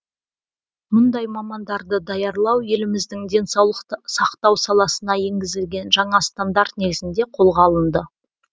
мұндай мамандарды даярлау еліміздің денсаулық сақтау саласына енгізілген жаңа стандарт негізінде қолға алынды